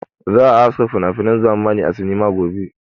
Za a haska finafinan zamani a sinima gobe.